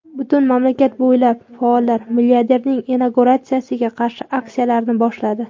Butun mamlakat bo‘ylab faollar milliarderning inauguratsiyasiga qarshi aksiyalarni boshladi.